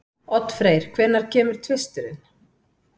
Oddfreyr, hvenær kemur tvisturinn?